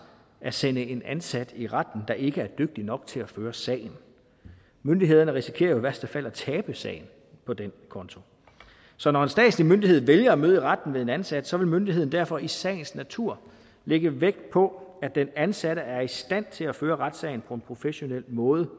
at sende en ansat i retten der ikke er dygtig nok til at føre sagen myndighederne risikerer jo i værste fald at tabe sagen på den konto så når en statslig myndighed vælger at møde i retten ved en ansat vil myndigheden derfor i sagens natur lægge vægt på at den ansatte er i stand til at føre retssagen på en professionel måde